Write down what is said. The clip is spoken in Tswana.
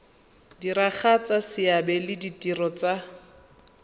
diragatsa seabe le ditiro tsa